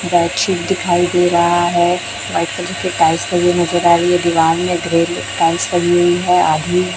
bedsheet दिखाई दे रहा है वाइट कलर की टाइल्स लगी नज़र आ रही है दीवार में ग्रे टाइल्स लगी हुई है आधी --